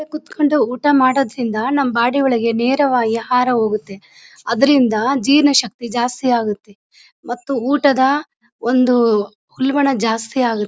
ಕುತ್ಕೊಂಡು ಊಟ ಮಾಡುವುದರಿಂದ ನಮ್ಮ್ ಬಾಡಿ ಒಳಗೆ ನೇರವಾಗಿ ಆಹಾರ ಹೋಗುತ್ತೆ ಅದರಿಂದ ಜೀರ್ಣ ಶಕ್ತಿ ಜಾಸ್ತಿ ಆಗುತ್ತೆ ಮತ್ತು ಊಟದ ಒಂದು ಉಲ್ಬಣ ಜಾಸ್ತಿ ಆಗುತ್ತೆ .